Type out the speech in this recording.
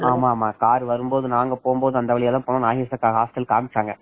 ஆமா ஆமா ஆமா கார் வரும்போது நாங்க போகும்போது அந்த நாகேஷ் அக்கா வாசல் கமிச்ச்ங்க